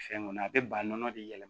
Fɛn kɔni a bɛ ba nɔnɔ de yɛlɛma